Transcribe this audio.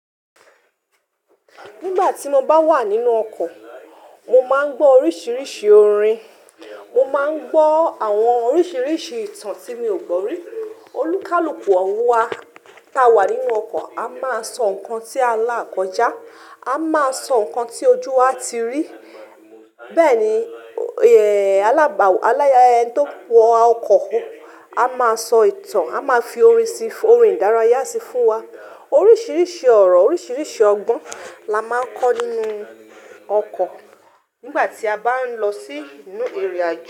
Nígbà tí mo bá wà nínú ọkọ̀, mo máa ń gbọ́ oríṣiríṣi orin, mo máa ń gbọ́ àwọn oríṣiríṣi ìtàn tí mi ò gbọ́ rí. Olúkálùkù àwa t'áa wà nínú ọkọ̀ a máa sọ nǹkan tí à ń là kọjá, a máa sọ nǹkan tí ojú wa ti rí. Bẹ́ẹ̀ni, alába, ẹni tó wa ọkọ̀ a máa sọ ìtàn, a máa fi orin síi, orin ìdárayá síi fún wa. Oríṣiríṣi ọ̀rọ̀, oríṣiríṣi ọgbọ́n la máa ń kọ́ nínú ọkọ̀ nígbà tí a bá ń lọ sí ìrìn àjò.